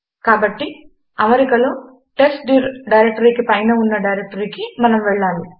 కాబట్టి అమరిక లో టెస్ట్డిర్ డైరెక్టరీకి పైన ఉన్న డైరెక్టరీకి మనము వెళ్ళాలి